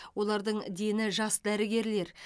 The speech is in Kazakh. олардың дені жас дәрігерлер